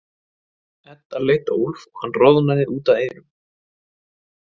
Edda leit á Úlf og hann roðnaði út að eyrum.